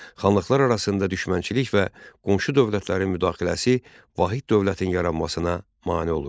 Xanlıqlar arasında düşmənçilik və qonşu dövlətlərin müdaxiləsi vahid dövlətin yaranmasına mane olurdu.